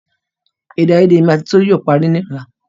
Èdè àyedè èmi àti tolu yóò parí ní ọ̀la